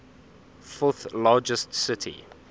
fourth largest city